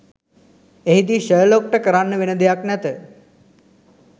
එහිදි ෂර්ලොක්ට කරන්න වෙන දෙයක් නැත